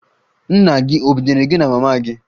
Nna gị ọ̀ binyere gị na mama gị?